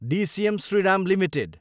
DCM Shriram Ltd